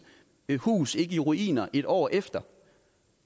hus ikke i ruiner et år efter